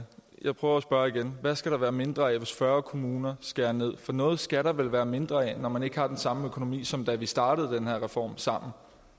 jeg prøver at spørge igen hvad skal der være mindre af hvis fyrre kommuner skærer ned for noget skal der vel være mindre af når man ikke har den samme økonomi som da vi startede den her reform sammen